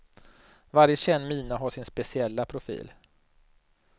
Varje känd mina har sin speciella profil.